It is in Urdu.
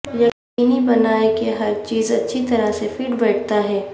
یقینی بنائیں کہ ہر چیز اچھی طرح سے فٹ بیٹھتا ہے